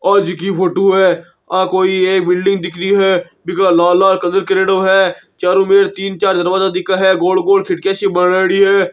आ जी की फोटो है आ कोई एक बिल्डिंग देख री है बि के लाल लाल कलर करेडो है चारो मे तीन चार दरवाजा दिखे है गोल गोल खिड़की ऐसी बनयेडी है।